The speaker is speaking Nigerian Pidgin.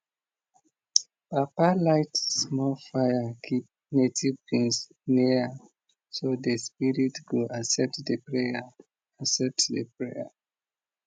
papa light small fire keep native beans near am so the spirits go accept the prayer accept the prayer